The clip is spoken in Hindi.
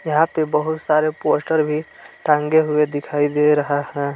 यहां पे बहुत सारे पोस्टर भी टांगे हुए दिखाई दे रहा है।